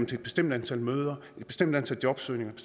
til et bestemt antal møder et bestemt antal jobsøgninger et